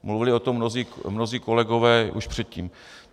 Mluvili o tom mnozí kolegové už předtím.